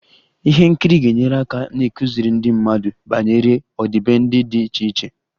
Ihe nkiri ga-enyere aka n'ịkụziri ndị mmadụ banyere ọdịbendị dị iche iche